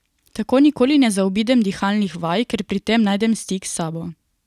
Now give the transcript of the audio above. Tako nikoli ne zaobidem dihalnih vaj, ker pri tem najdem stik s sabo.